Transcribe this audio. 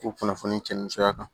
K'u kunnafoni cɛn ni sɔrɔ kan